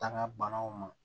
Taa banaw ma